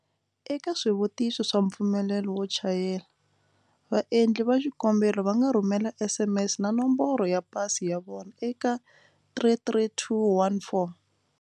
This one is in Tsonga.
Eka swivutiso swa mpfumelelo wo chayela, va endli va xikombelo va nga rhumela SMS na Nomboro ya Pasi ya vona eka 33214.